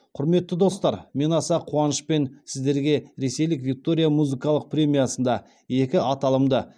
құрметті достар мен аса қуанышпен сіздерге ресейлік виктория музыкалық премиясында екі аталымда